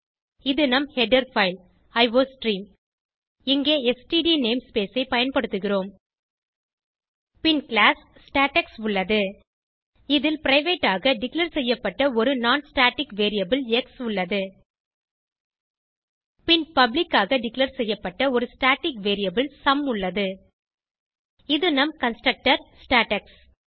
இது நம் header file iostream இங்கே ஸ்ட்ட் நேம்ஸ்பேஸ் ஐ பயன்படுத்துகிறோம் பின் கிளாஸ் ஸ்டேடெக்ஸ் உள்ளது இதில் பிரைவேட் ஆக டிக்ளேர் செய்யப்பட்ட ஒரு non ஸ்டாட்டிக் வேரியபிள் எக்ஸ் உள்ளது பின் பப்ளிக் ஆக டிக்ளேர் செய்யப்பட்ட ஒரு ஸ்டாட்டிக் வேரியபிள் சும் உள்ளது இது நம் கன்ஸ்ட்ரக்டர் ஸ்டேடெக்ஸ்